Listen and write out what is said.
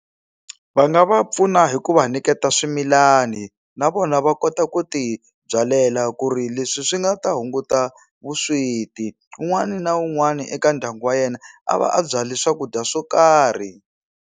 Va nga va pfuna hi ku va nyiketa swimilani na vona va kota ku ti byalela ku ri leswi swi nga ta hunguta vusweti un'wani na un'wani eka ndyangu wa yena a va a byale swakudya swo karhi.